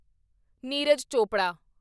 Neeraj Chopra